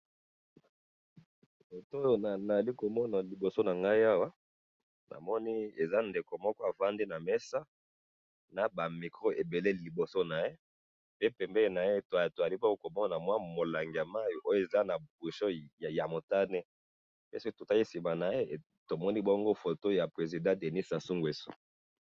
Photo oyo nazali komona liboso na ngai awa ,namoni eza ndeko moko avandi na mesa na ba micros ebele liboso na ye pe pembeni na ye tozali komona mwa molangi ya mai oyo eza na bouchon ya motane pe soki totali sima na ye tomoni bongo photo ya président denis sassou ngwesso